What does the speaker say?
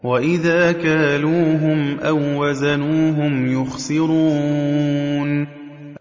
وَإِذَا كَالُوهُمْ أَو وَّزَنُوهُمْ يُخْسِرُونَ